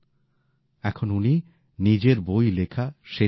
এখন উনি নিজের বই লেখা শেষ করছেন